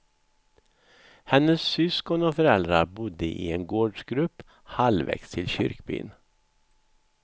Hennes syskon och föräldrar bodde i en gårdsgrupp halvvägs till kyrkbyn.